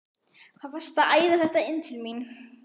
HVAÐ VARSTU AÐ ÆÐA ÞETTA INN TIL MÍN!